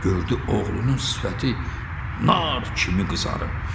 Gördü oğlunun sifəti nar kimi qızarıb.